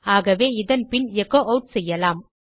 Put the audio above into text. ஆகவே இதன் பின் எச்சோ ஆட் செய்யலாம்